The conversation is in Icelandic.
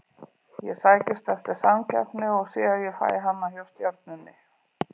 Ég sækist eftir samkeppni og sé að ég fæ hana hjá Stjörnunni.